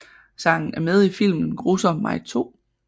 Sangen er med i filmen Grusomme mig 2